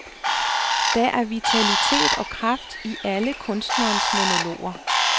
Der er vitalitet og kraft i alle kunstnerens monologer.